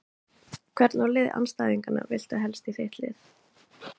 Hvern úr liði andstæðinganna viltu helst í þitt lið?